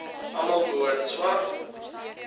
almal behoort swart